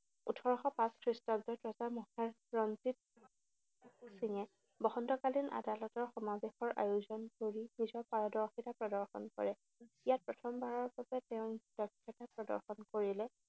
ওঠৰশ পাঁচ খ্ৰীষ্টাব্দত ৰজা মহাৰজা ৰঞ্জিত সিঙে বসন্তকালীন আদালতৰ সমাৱেশৰ আয়োজন কৰি নিজৰ পাৰদৰ্শিতা প্ৰদৰ্শন কৰে। ইয়াত প্ৰথমবাৰৰ বাবে তেওঁ দক্ষতা প্ৰদৰ্শন কৰিলে।